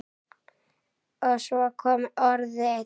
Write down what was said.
Og svo kom orðið